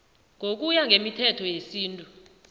ngokuya ngemithetho yesikimu